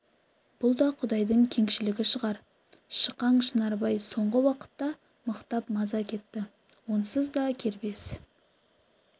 бұл да құдайдың кеңшілігі шығар шықаң шынарбай соңғы уақытта мықтап маза кетті онсыз да кербез